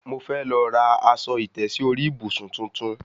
Mo fẹ́ lọ ra aṣọ ìtẹ́sí orí ìbùsùn tuntun